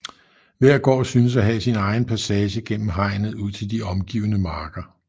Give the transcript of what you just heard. Hver gård synes at have sin egen passage gennem hegnet ud til de omgivende marker